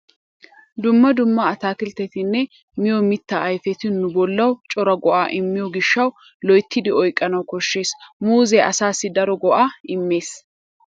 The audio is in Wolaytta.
Dumma dumma ataakilttetanne miyo mittaa ayfeti nu bollawu cora go"aa immiyo gishshawu loyttidi oyqqanawu koshshees. Muuzee asaassi daro go"aa immees.